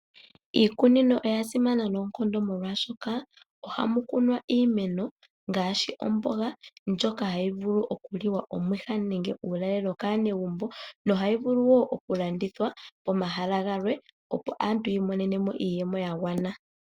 Iikunino oya simana noonkondo molwashoka, ohamu kunwa iimeno, ngaashi omboga, ndjono hayi vulu oku liwa omwiha nenge uulalelo kaanegumbo, nohayi vulu wo oku landithwa pomahala gamwe opo aantu yi imonenemo iiyemo yagwana.